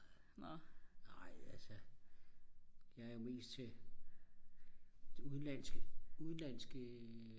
nej altså jeg er mest til udenlandske